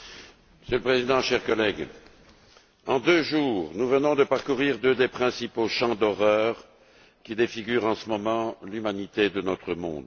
Monsieur le Président, chers collègues, en deux jours, nous venons de parcourir deux des principaux champs d'horreur qui défigurent en ce moment l'humanité de notre monde.